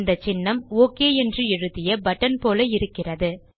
இந்த சின்னம் ஒக் என்று எழுதிய பட்டன் போல இருக்கிறது